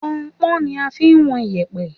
Pọnnpọ́n ni a fi ń wọn iyẹ̀pẹ̀